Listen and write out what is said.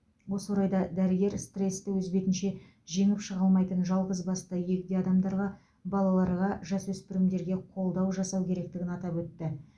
осы орайда дәрігер стресті өз бетінше жеңіп шыға алмайтын жалғызбасты егде адамдарға балаларға жасөспірімдерге қолдау жасау керектігін атап өтті